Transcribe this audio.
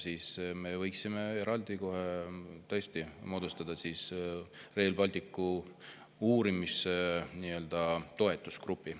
Siis me võiksime tõesti moodustada eraldi Rail Balticu uurimisgrupi, nii-öelda toetusgrupi.